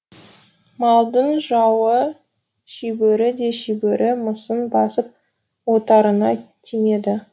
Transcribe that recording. малдың жауы шибөрі де шибөрі мысың басып отарыңа тимеді